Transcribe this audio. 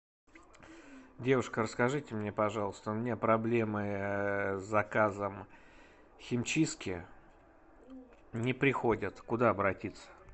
девушка расскажите мне пожалуйста у меня проблемы с заказом химчистки не приходят куда обратиться